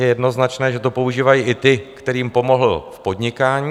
Je jednoznačné, že to používají i ti, kterým pomohl v podnikání.